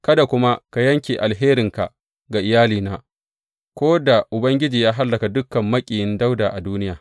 Kada kuma ka yanke alherinka ga iyalina ko da Ubangiji ya hallaka dukan maƙiyin Dawuda a duniya.